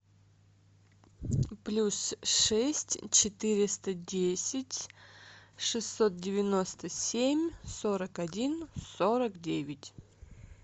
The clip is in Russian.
плюс шесть четыреста десять шестьсот девяносто семь сорок один сорок девять